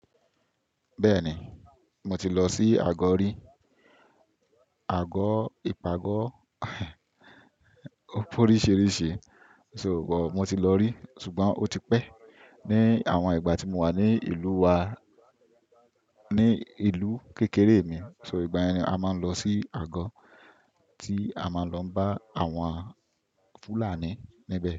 Bẹ́ẹ̀ni, mo ti lọ sí àgọ́ rí. Àgọ́, ìpàgọ́ ó pé oríṣìíríṣìí. Sugbọ̀n, mo ti lọ rí ṣùgbọ́n ó ti pẹ́. Ni àwọn ìgbà tí mo wà ní ìlú wa, ní ìlú kékeré mi, so ìgbà ẹni a máa ń lọ sí àgọ́ tí a máa ń lọ bá àwọn Fulani níbe.